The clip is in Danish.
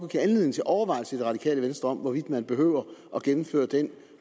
give anledning til overvejelse i det radikale venstre om hvorvidt man behøver at gennemføre den